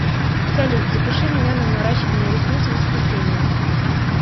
салют запиши меня на наращивание ресниц в воскресенье